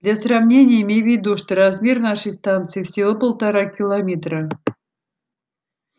для сравнения имей в виду что размер нашей станции всего полтора километра